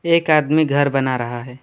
एक आदमी घर बना रहा है।